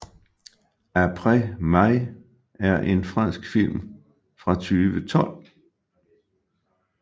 Apres Mai er en fransk film fra 2012